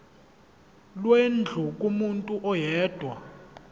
lwendlu kumuntu oyedwa